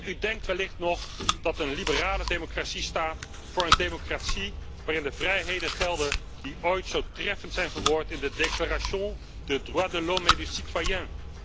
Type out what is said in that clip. U denkt wellicht nog dat een liberale democratie staat voor een democratie waarin de vrijheden gelden die ooit zo treffend zijn verwoord in de Déclaration des droits de l'homme et du citoyen